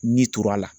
Ni tor'a la